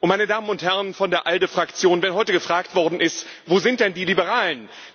Meine Damen und Herren von der ALDE Fraktion, wenn heute gefragt worden ist Wo sind denn die Liberalen?,